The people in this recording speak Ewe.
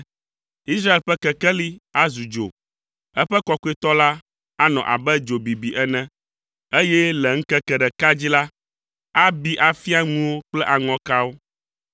Israel ƒe Kekeli azu dzo, eƒe Kɔkɔetɔ la anɔ abe dzo bibi ene, eye le ŋkeke ɖeka dzi la, abi afia ŋuwo kple aŋɔkawo.